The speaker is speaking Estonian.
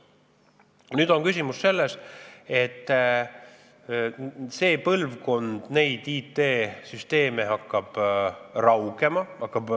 Nüüd on küsimus selles, et nende IT-süsteemide põlvkonna jõud hakkab raugema.